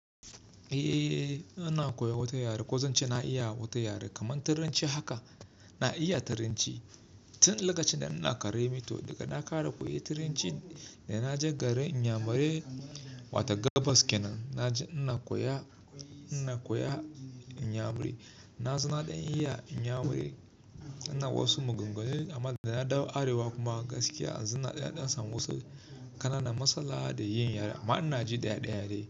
Eh, ina koya wata yare. Ko zan ce na iya wata yare kamar turanci haka, na iya turanci. Tun lokacin da ina ƙara mi too, daga na ƙare koyan turanci da na je garin inyamurai wato Gabas kenan. Na je ina koya, ina koya inyamuri na zona ɗan iya inyamuri, ina wasu maganganu amma da na dawo arewa kuma gaskiya na azun na ɗandan samu wasu ƙananan masalha da yin yaren amma ina ji ɗaya ɗaya yare.